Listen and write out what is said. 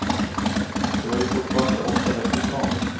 Det var ju fortfarande åtta veckor kvar.